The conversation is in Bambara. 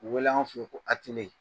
obɛ wele an ko fɛ